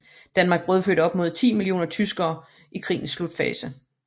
Danmark brødfødte op imod 10 millioner tyskere i krigens slutfase